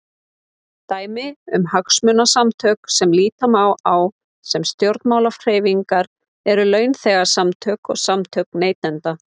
Dæmi um hagsmunasamtök sem líta má á sem stjórnmálahreyfingar eru launþegasamtök og samtök neytenda.